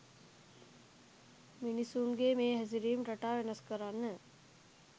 මිනිස්සුන්ගේ මේ හැසිරීම් රටා වෙනස් කරන්න